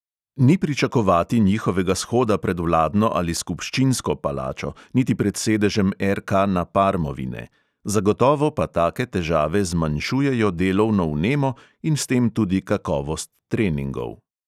Ni pričakovati njihovega shoda pred vladno ali skupščinsko palačo, niti pred sedežem RK na parmovi ne, zagotovo pa take težave zmanjšujejo delovno vnemo in s tem tudi kakovost treningov.